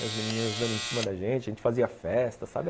E as menininhas dando em cima da gente, a gente fazia festa, sabe?